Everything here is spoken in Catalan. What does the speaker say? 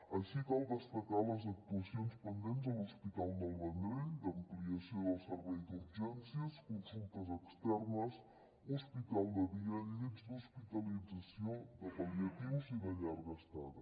així cal destacar les actuacions pendents a l’hospital del vendrell d’ampliació del servei d’urgències consultes externes hospital de dia llits d’hospitalització de pal·liatius i de llarga estada